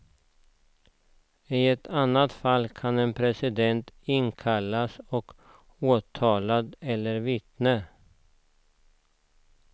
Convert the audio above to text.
I ett annat fall kan en president inkallas som åtalad eller vittne.